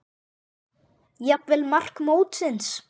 Jafnvel mark mótsins?